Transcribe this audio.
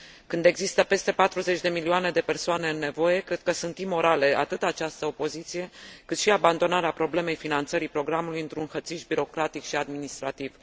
Când există peste 40 de milioane de persoane în nevoie, cred că sunt imorale atât această opoziție, cât și abandonarea problemei finanțării programului într un hățiș birocratic și administrativ.